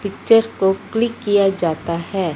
Picture को click किया जाता है।